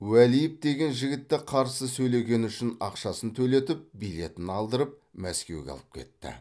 уәлиев деген жігітті қарсы сөйлегені үшін ақшасын төлетіп билетін алдырып мәскеуге алып кетті